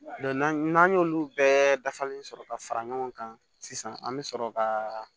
n'an y'olu bɛɛ dafalen sɔrɔ ka fara ɲɔgɔn kan sisan an bɛ sɔrɔ ka